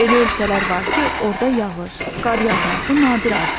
Elə ölkələr var ki, orda yağış, qar yağması nadir hadisədir.